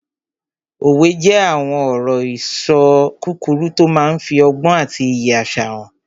Òwe jẹ́ àwọn ọ̀rọ̀-ìṣọ kúkúrú tó máa n fi ọgbọ́n àti iyì àṣà hàn